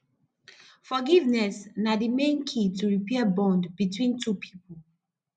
forgiveness na di main key to repair bond between two people